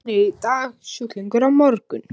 Læknir í dag, sjúklingur á morgun.